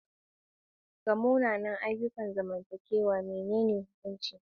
Ga munanan ayyukan zamantakewa, menene hukuncin?